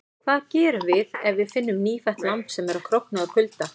Hvað gerum við ef við finnum nýfætt lamb sem er að krókna úr kulda?